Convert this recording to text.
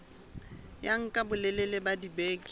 ya nka bolelele ba dibeke